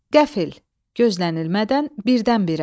Qəfil, gözlənilmədən birdən-birə.